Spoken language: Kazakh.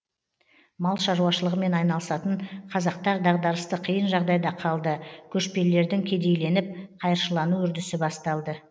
мал шаруашылығымен айналысатын қазақтар дағдарысты қиын жағдайда калды көшпелілердің кедейленіп қайыршылану үрдісі басталды